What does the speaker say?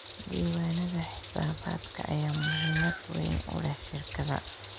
Diiwaanada xisaabaadka ayaa muhiimad weyn u leh shirkadda.